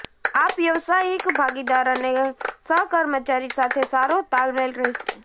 આપ વ્યાવસાયિક ભાગીદાર અને સહકર્મચારી સાથે સારો તાલમેલ રહેશે